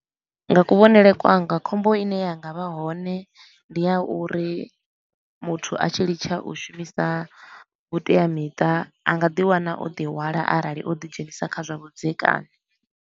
Nga kuvhonele kwanga khombo i ne yanga vha hone ndi a uri muthu a tshi litsha u shumisa vhuteamiṱa a nga ḓi wana o ḓi hwala arali o ḓi dzhenisa kha zwa vhudzekani.